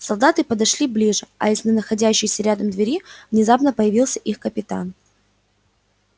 солдаты подошли ближе а из находящейся рядом двери внезапно появился их капитан